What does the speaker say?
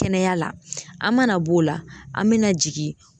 Kɛnɛya la an mana b'o la an me na jigin